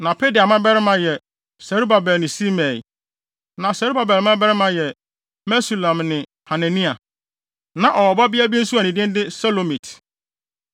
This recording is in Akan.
Na Pedaia mmabarima yɛ Serubabel ne Simei. Na Serubabel mmabarima yɛ Mesulam ne Hanania. Na ɔwɔ ɔbabea nso a ne din de Selomit.